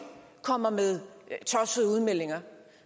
kommer med tossede udmeldinger